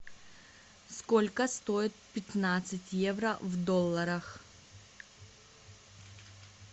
сколько стоит пятнадцать евро в долларах